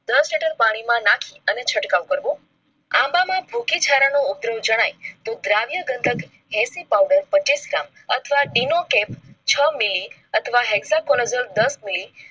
દસ લિટર પાણી માં નાખી અને છંટકાવ કરવો આંબામાં ભુકે થારાનો ઉગ્ર જણાય તો દ્રવ્ય ગંધક powder પેચીસ gram અથવા છ મીલી અથવા hexacologen દસ મીલી